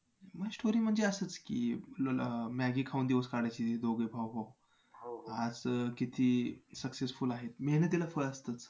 story म्हणजे असंच की Maggi खाऊन दिवस काढायचे दोघे भाऊ भाऊ आज किती successful आहेत. मेहनतीला फळ असतंच.